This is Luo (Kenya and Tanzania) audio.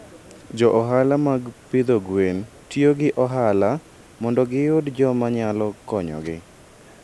Jo ohala mag pidho gwen tiyo gi ohala mondo giyud joma nyalo konyogi.